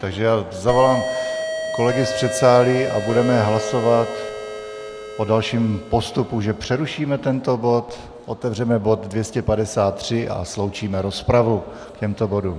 Takže já zavolám kolegy z předsálí a budeme hlasovat o dalším postupu, že přerušíme tento bod, otevřeme bod 253 a sloučíme rozpravu k těmto bodům.